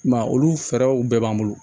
I m'a ye olu fɛɛrɛw bɛɛ b'an bolo